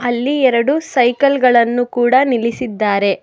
ಅಲ್ಲಿ ಎರಡು ಸೈಕಲ್ ಗಳನ್ನು ಕೂಡ ನಿಲ್ಲಿಸಿದ್ದಾರೆ.